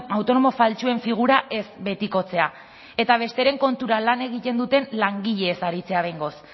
autonomo faltsuen figura ez betikotzea eta besteren kontura lan egiten duten langileez aritzea behingoz